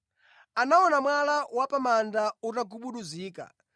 Anaona mwala wa pa manda utagubuduzika